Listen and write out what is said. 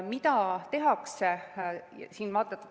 Mida tehakse?